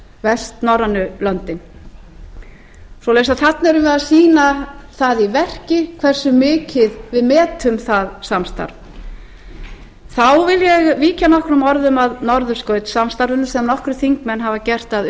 vestnorrænu löndin svoleiðis að þarna erum við að sýna það í verki hversu mikið við metum það samstarf þá vil ég víkja nokkrum orðum að norðurskautssamstarfinu sem nokkrir þingmenn hafa gert að